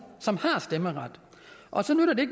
som har stemmeret og så nytter det